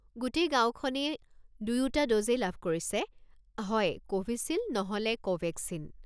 গোটেই গাঁওখনেই দয়োটা ড'জেই লাভ কৰিছে, হয় ক'ভিছিল্ড নহলে ক'ভেক্সিন।